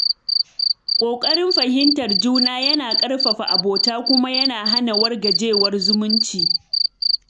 Kokarin fahimtar juna yana ƙarfafa abota kuma yana hana wargajewar zumunci.